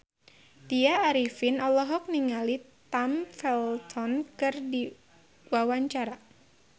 Tya Arifin olohok ningali Tom Felton keur diwawancara